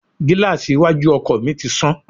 Gíláàsì iwájú ọkọ̀ ọkọ mi ti sán